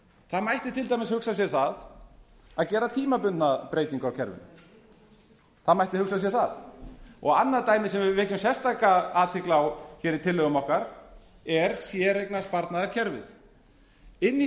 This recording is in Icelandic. það mætti til dæmis hugsa sér það að gera tímabundna breytingu á kerfinu það mætti hugsa sér það og annað dæmi sem við vekjum sérstaka athygli á hér í tillögum okkar er séreignarsparnaðarkerfið inni í séreignarsparnaðarkerfinu